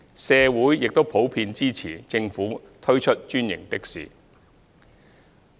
社會亦普遍支持政府推出專營的士。